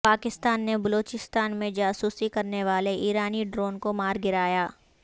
پاکستان نے بلوچستان میں جاسوسی کرنے والے ایرانی ڈرون کو مار گرایا